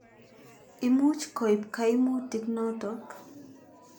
Imuch koip kaimutik notok.